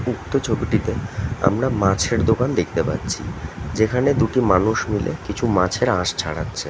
উক্ত ছবিটিতে আমরা মাছের দোকান দেখতে পাচ্ছি যেখানে দুটি মানুষ মিলে কিছু মাছের আঁশ ছাড়াচ্ছে। ।